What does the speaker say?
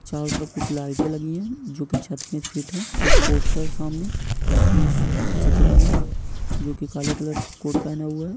चारों तरफ कुछ लाइटे लगी है जो की छत मे फिट है एक पोस्टर है सामने जिसमें एक आदमी का चित्र बना है जो कि काले कलर का कोर्ट पहनया हुआ है।